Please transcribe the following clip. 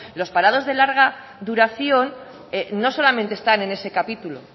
los parados de larga duración no solamente están en ese capítulo